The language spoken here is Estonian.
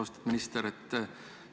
Austatud minister!